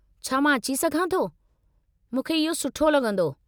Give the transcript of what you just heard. छा मां अची सघां थो? मूंखे इहो सुठो लॻंदो।